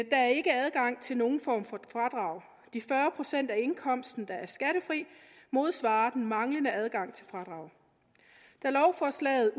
er ikke adgang til nogen form for fradrag de fyrre procent af indkomsten der er skattefri modsvarer den manglende adgang til fradrag lovforslaget